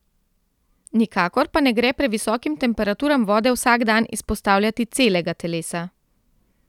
Nikakor pa ne gre previsokim temperaturam vode vsak dan izpostavljati celega telesa.